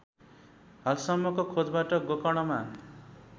हालसम्मको खोजबाट गोकर्णमा